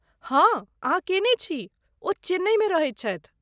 हँ अहाँ कयने छी, ओ चेन्नईमे रहैत छथि।